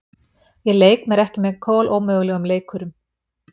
Ég leik ekki með kolómögulegum leikurum